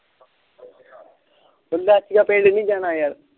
ਲਾਚੀਆਂ ਪਿੰਡ ਨੀ ਜਾਣਾ ਯਾਰ